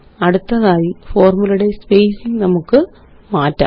അടുത്തതായി ഫോര്മുലയുടെ സ്പേസിംഗ് നമുക്ക് മാറ്റാം